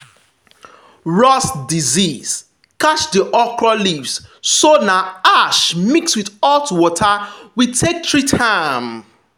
rust disease catch the okra leaves so na ash mix with hot water we take treat am.